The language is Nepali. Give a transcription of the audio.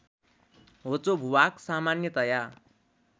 होचो भूभाग सामान्यतया